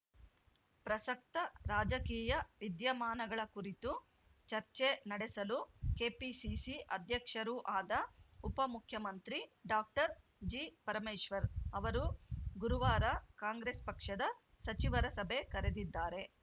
ಪ್ರಸಕ್ತ ರಾಜಕೀಯ ವಿದ್ಯಮಾನಗಳ ಕುರಿತು ಚರ್ಚೆ ನಡೆಸಲು ಕೆಪಿಸಿಸಿ ಅಧ್ಯಕ್ಷರೂ ಆದ ಉಪಮುಖ್ಯಮಂತ್ರಿ ಡಾಕ್ಟರ್ ಜಿ ಪರಮೇಶ್ವರ್‌ ಅವರು ಗುರುವಾರ ಕಾಂಗ್ರೆಸ್‌ ಪಕ್ಷದ ಸಚಿವರ ಸಭೆ ಕರೆದಿದ್ದಾರೆ